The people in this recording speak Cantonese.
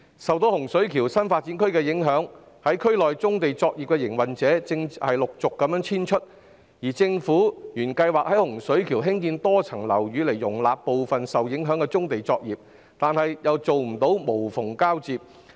受洪水橋新發展區的工程影響，區內的棕地作業營運者正陸續遷出，而政府原計劃在洪水橋興建多層樓宇以容納部分受影響的棕地作業，卻未能做到無縫交接。